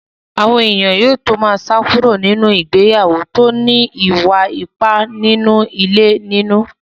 Àwọn èèyàn á tó má sá kúrò nínú ìgbéyàwó tó ní ìwà ipá nínú ilé nínú.